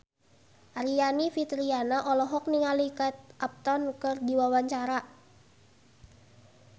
Aryani Fitriana olohok ningali Kate Upton keur diwawancara